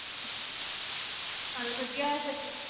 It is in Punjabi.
ਚੱਲ ਵਧੀਆ ਆ ਏ ਫਿਰ